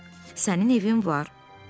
Sənin evin var, Piklit.